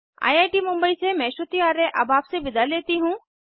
I I T Mumbai से मैं श्रुति आर्य अब आपसे विदा लेती हूँ